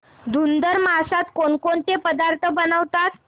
धुंधुर मासात कोणकोणते पदार्थ बनवतात